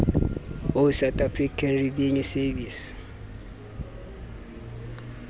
ho south african revenue service